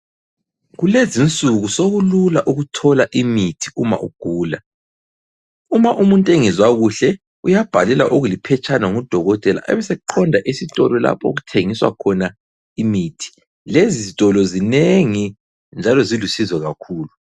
Kulezinsuku sokulula ukuthola imithi uma ugula. Uma umuntu engezwa kuhle uyabhalelwa okuliphetshana ngudokotela abe eseqonda esitolo lapho okuthengiswa khona imithi Lezitolo zinengi njalo zilusizo kakhulu